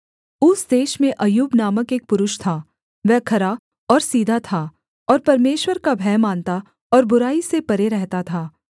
ऊस देश में अय्यूब नामक एक पुरुष था वह खरा और सीधा था और परमेश्वर का भय मानता और बुराई से परे रहता था